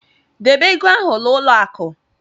Debe ego ahụ n'ụlọ akụ.